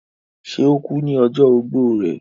ṣe, ó kú ní ọjọ́ ogbó rẹ̀?